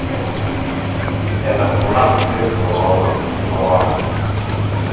это сладкое слово свобода